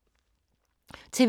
TV 2